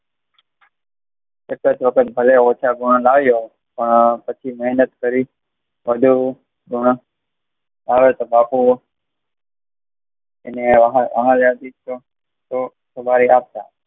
એકજ વખત ભલે ઓછા ગુણ લવ્યો પણ પછી મહેનત કરી વધુ ગુણ આવે તોહ બાપુ